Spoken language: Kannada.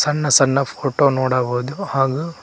ಸನ್ನ ಸಣ್ಣ ಫೋಟೋ ನೋಡಬಹುದು ಹಾಗು--